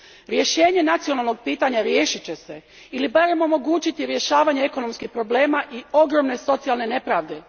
Rješenje nacionalnog pitanja riješit će se ili barem omogućiti rješavanje ekonomskih problema i ogromne socijalne nepravde.